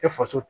E faso